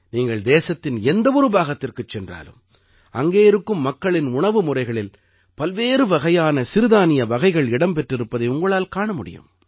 நீங்கள் தேசத்தின் எந்த ஒரு பாகத்திற்குச் சென்றாலும் அங்கே இருக்கும் மக்களின் உணவு முறைகளில் பல்வேறு வகையான சிறுதானிய வகைகள் இடம் பெற்றிருப்பதை உங்களால் காண முடியும்